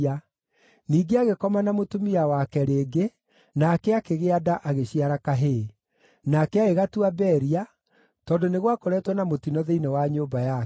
Ningĩ agĩkoma na mũtumia wake rĩngĩ, nake akĩgĩa nda agĩciara kahĩĩ. Nake agĩgatua Beria, tondũ nĩ gwakoretwo na mũtino thĩinĩ wa nyũmba yake.